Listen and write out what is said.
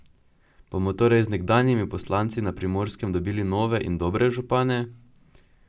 Bomo torej z nekdanjimi poslanci na Primorskem dobili nove in dobre župane?